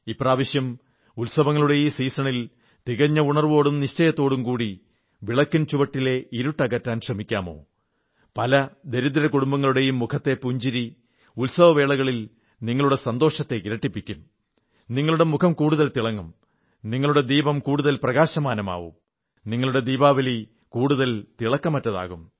ഇപ്രാവശ്യം ഉത്സവങ്ങളുടെ ഈ സീസണിൽ തികഞ്ഞ ഉണർവ്വോടും നിശ്ചയത്തോടും കൂടി വിളക്കിൻ ചുവട്ടിലെ ഇരുട്ടകറ്റാൻ ശ്രമിക്കാമോ പല ദരിദ്ര കുടുംബങ്ങളുടെയും മുഖത്തെ പുഞ്ചിരി ഉത്സവവേളകളിൽ നിങ്ങളുടെ സന്തോഷത്തെ ഇരട്ടിപ്പിക്കും നിങ്ങളുടെ മുഖം കൂടുതൽ തിളങ്ങും നിങ്ങളുടെ ദീപം കൂടുതൽ പ്രകാശമാനമാകും നിങ്ങളുടെ ദീപാവലി കൂടുതൽ തിളക്കമുള്ളതാകും